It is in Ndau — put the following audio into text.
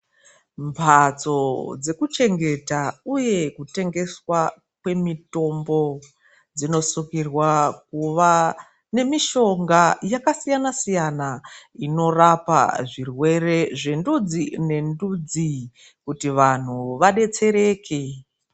Mhatso dzekuchengeta uye kutengeswa kwemitombo, dzinosungirwa kuva nemitombo yakasiyana-siyana ,inorapa zvirwere zvendudzi nendudzi kuti vanhu vadetsereke.